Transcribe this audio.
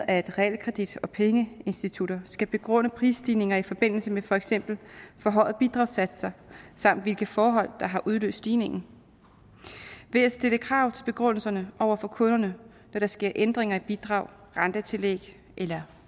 at realkredit og pengeinstitutter skal begrunde prisstigninger i forbindelse med for eksempel forhøjede bidragssatser samt hvilke forhold der har udløst stigningen ved at stille krav til begrundelserne over for kunderne når der sker ændringer i bidrag rentetillæg eller